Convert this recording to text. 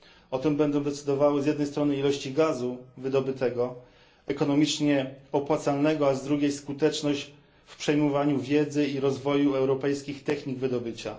O tym będą decydowały, z jednej strony, ilości gazu wydobytego, ekonomicznie opłacalnego, a z drugiej strony, skuteczność w przejmowaniu wiedzy i rozwoju europejskich technik wydobycia.